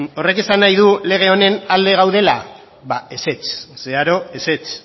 horrek esan nahi du lege honen alde gaudela ba ezetz zeharo ezetz